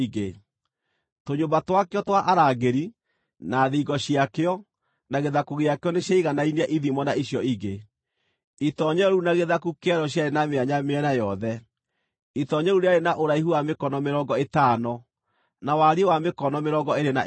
Tũnyũmba twakĩo twa arangĩri, na thingo ciakĩo, na gĩthaku gĩakĩo nĩciaiganainie ithimo na icio ingĩ. Itoonyero rĩu na gĩthaku kĩarĩo ciarĩ na mĩanya mĩena yothe. Itoonyero rĩu rĩarĩ na ũraihu wa mĩkono mĩrongo ĩtano, na wariĩ wa mĩkono mĩrongo ĩĩrĩ na ĩtano.